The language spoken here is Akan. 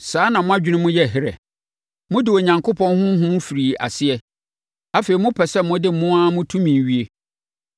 Saa na mo adwene mu yɛ herɛ? Mode Onyankopɔn Honhom firii aseɛ; afei mopɛ sɛ mode mo ara mo tumi wie?